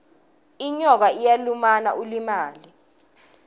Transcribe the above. inyoka iyalumana ulimale